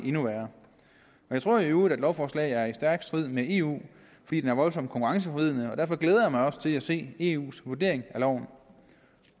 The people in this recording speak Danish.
endnu værre jeg tror i øvrigt at lovforslaget er i stærk strid med eu fordi det er voldsomt konkurrenceforvridende derfor glæder jeg mig også til at se eus vurdering af loven